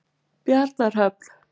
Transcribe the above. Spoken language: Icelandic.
Bjarnarhöfn